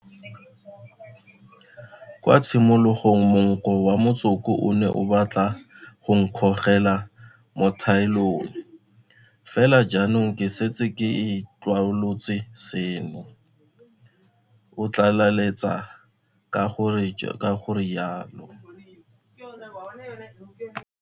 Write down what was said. Kwa tshimologong monko wa motsoko o ne o batla go nkgogela mo thaelong, fela jaanong ke setse ke itlwaolotse seno, o tlaleletsa ka go rialo.